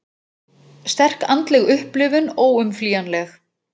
Sterk andleg upplifun óumflýjanleg